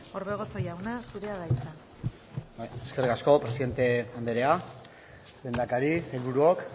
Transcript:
orbegozo jauna zurea da hitza bai eskerrik asko presidente andrea lehendakari sailburuok